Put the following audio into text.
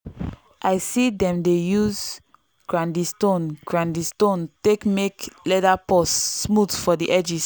i see dem dey use grinding stone grinding stone take make leather purse smooth for the edges.